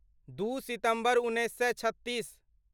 दू सितम्बर उन्नैस सए छत्तीस